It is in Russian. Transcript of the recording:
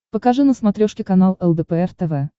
покажи на смотрешке канал лдпр тв